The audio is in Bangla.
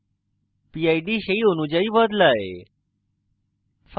pid সেই অনুযায়ী বদলায়